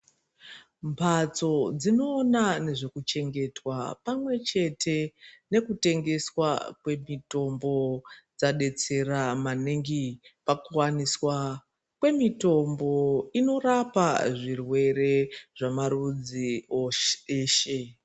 Mbatso dzinoona ngezvekuchengeta pamwechete nkutengeswa kwemitombo dzabetsera paningi pakuwaniswa kwemitombo inorapa zvirwere zvamarudzi ese .